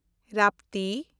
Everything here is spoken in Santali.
ᱨᱟᱯᱛᱤ